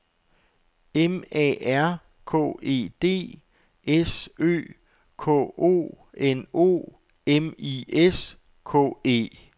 M A R K E D S Ø K O N O M I S K E